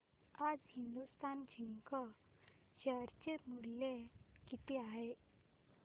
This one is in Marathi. आज हिंदुस्तान झिंक शेअर चे मूल्य किती आहे